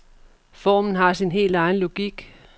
Formen har sin helt egen logik.